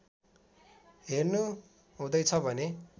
हेर्नु हुँदैछ भने